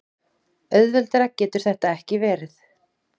Auðveldara getur þetta ekki verið.